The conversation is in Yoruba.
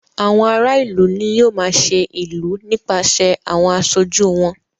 Àwọn ara ìlú ní yóò máa ṣe ìlú nípaṣẹ̀ àwọn aṣojú wọn.